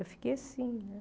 Eu fiquei assim, né?